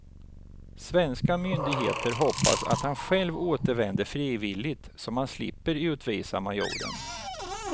Svenska myndigheter hoppas att han själv återvänder frivilligt, så man slipper utvisa majoren.